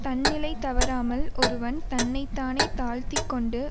தன்னிலை தவறாமல் ஒருவன் தன்னை தானே காத்து கொண்டு